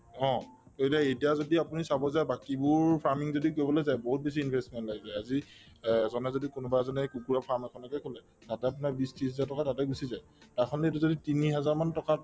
অ, কিয়নো এতিয়া যদি আপুনি চাব যায় বাকিবোৰ farming যদি কৰিবলৈ যায় বহুত বেছি investment লাগি যায় আজি অ যদি কোনোবা এজনে কুকুৰাৰ farm এখনকে খোলে তাতে আপোনাৰ বিশ ত্ৰিশ হাজাৰ টকা তাতে গুচি যায় তাৰসলনি এইটো যদি তিনিহেজাৰ মান টকাত